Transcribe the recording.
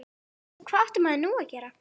Hvað átti maður nú að gera?